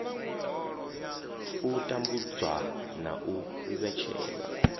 u tambudzwa na u vhetshelwa